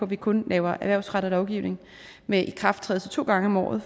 vi kun laver erhvervsrettet lovgivning med ikrafttrædelse to gange om året